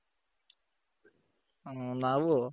ಹ್ಮ್ ನಾವೂ